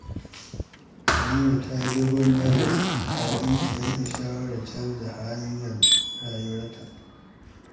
Halima ta yi dogon nazari kafin ta yanke shawarar canja hanyar rayuwarta.